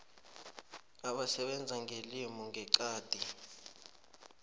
abasebenza ngelimi ngeqadi